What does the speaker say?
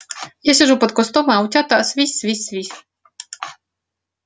я сижу под кустом а утята свись свись свись